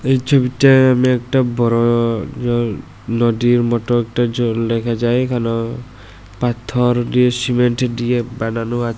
এই ছবিটে এম একটা বড় নোডির মোটো একটা জল দেখা যায় এখানে পাথর দিয়ে সিমেন্টের ডিজাইন বানানো আছে।